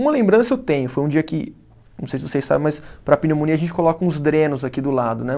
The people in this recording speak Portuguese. Uma lembrança eu tenho, foi um dia que, não sei se vocês sabem, mas para pneumonia a gente coloca uns drenos aqui do lado, né?